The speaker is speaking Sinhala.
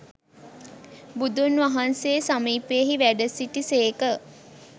බුදුන් වහන්සේ සමීපයෙහි වැඩ සිටි සේක.